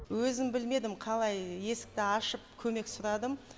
өзім білмедім қалай есікті ашып көмек сұрадым